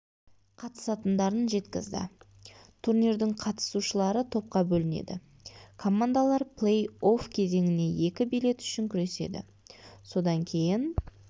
қатысатындарын жеткізді турнирдің қатысушылары топқа бөлінеді командалар плей-офф кезеңіне екі билет үшін күреседі содан кейін